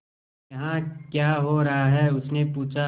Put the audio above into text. यहाँ क्या हो रहा है उसने पूछा